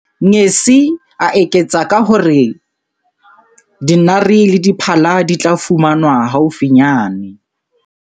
Ngesi, a eketsa ka ho re dinare le diphala di tla fumanwa haufinyane.